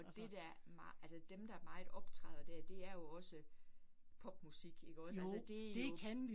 Og det der, altså dem, der meget optræder der, det er jo også popmusik ikke også, altså det jo